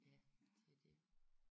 Ja det er det